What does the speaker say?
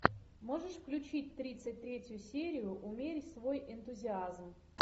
можешь включить тридцать третью серию умерь свой энтузиазм